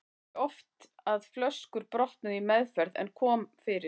Það var ekki oft að flöskur brotnuðu í meðferð en kom fyrir.